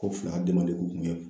Ko fila kun tun ye